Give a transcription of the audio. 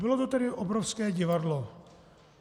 Bylo to tedy obrovské divadlo.